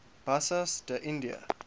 bassas da india